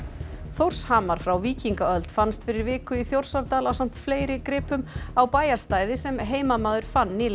Þórshamar frá víkingaöld fannst fyrir viku í Þjórsárdal ásamt fleiri gripum á bæjarstæði sem heimamaður fann nýlega